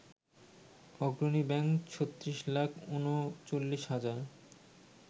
অগ্রণী ব্যাংক ৩৬ লাখ ৩৯ হাজার